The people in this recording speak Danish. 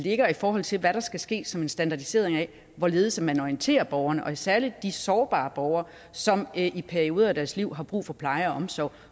forhold til hvad der skal ske som en standardisering af hvorledes man orienterer borgerne og særlig de sårbare borgere som i perioder af deres liv har brug for pleje og omsorg